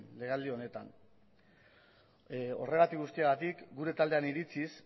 legealdi honetan horregatik guztiagatik gure taldearen iritziz